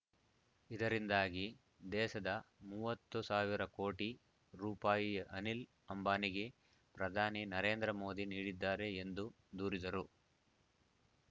ಇದರಿಂದಾಗಿ ದೇಶದ ಮೂವತ್ತು ಸಾವಿರ ಕೋಟಿ ರೂಪಾಯಿ ಅನಿಲ್ ಅಂಬಾನಿಗೆ ಪ್ರಧಾನಿ ನರೇಂದ್ರ ಮೋದಿ ನೀಡಿದ್ದಾರೆ ಎಂದು ದೂರಿದರು